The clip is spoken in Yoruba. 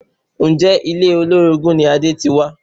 Ǹjẹ́ ilé olórogún ni Adé ti wá?